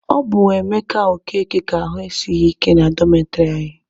Ọ bụ Emeka Okeke ka ahụ esighị ike na dọmetịrị anyị.